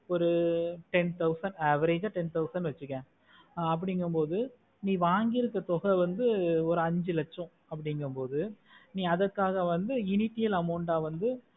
ஒரு ten thousand average ஆஹ் ten percentage வெச்சிக்கோ ஆஹ் அப்புடிகமொடு நீ வாங்கிக்க தொகை வந்து ஒரு அஞ்சி லட்சம் அப்புடிகமொடு அதுக்காக வந்து amount ஆஹ் வந்து